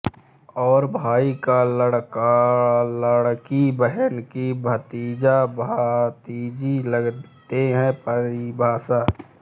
और भाई का लड़कालड़की बहन की भतीजाभतीजी लगते है परिभाषा